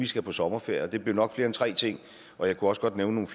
skal på sommerferie det bliver nok flere end tre ting og jeg kunne også godt nævne